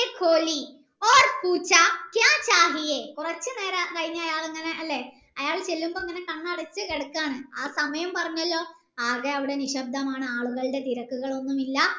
കൊറച്ചു നേരം കഴിഞ്ഞു അയാളങ്ങനെ അല്ലെ അയാൾ ചെല്ലുമ്പോ ഇങ്ങനെ കണ്ണടച്ചു കിടക്കാണ് ആ സമയം പറഞ്ഞല്ലോ ആകെ നിശ്ശബ്ദമാണ് ആളുകളുടെ തിരക്കുകളൊന്നുമില്ല